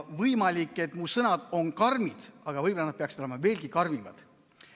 Võimalik, et mu sõnad on karmid, aga võib-olla nad peaksid olema veelgi karmimad.